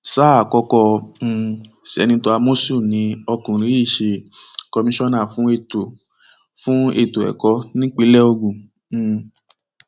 sáà àkókò um sẹnitọ àmọsùn ni ọkùnrin yìí ṣe kọmíṣánná fún ètò fún ètò ẹkọ nípínlẹ ogun um